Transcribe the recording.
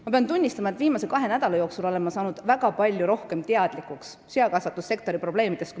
Ma pean tunnistama, et viimase kahe nädala jooksul olen ma saanud varasemast palju rohkem teadlikuks seakasvatussektori probleemidest.